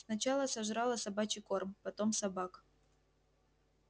сначала сожрала собачий корм потом собак